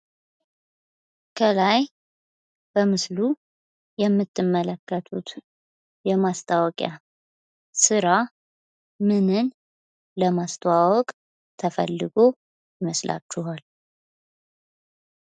ከላይ በምስሉ የምትመለከቱት የማስታወቂያ ስራ ምንን ለማስተዋወቅ ተፈልጎ ይመስላችኋል?